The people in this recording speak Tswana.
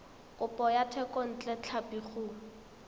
kopo ya thekontle tlhapi go